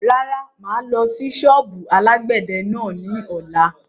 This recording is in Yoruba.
Rárá, máa lọ sí sọ́ọ́bù alàgbẹ̀dẹ náà ni ọ̀la.